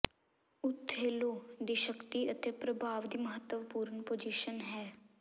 Othello ਦੀ ਸ਼ਕਤੀ ਅਤੇ ਪ੍ਰਭਾਵ ਦੀ ਮਹੱਤਵਪੂਰਨ ਪੋਜੀਸ਼ਨ ਹੈ